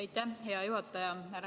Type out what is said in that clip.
Aitäh, hea juhataja!